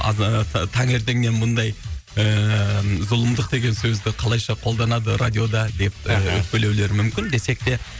таңертеңнен мұндай ііі зұлымдық деген сөзді қалайша қолданады радиода деп өкпелеулері мүмкін десек те